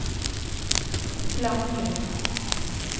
klanglig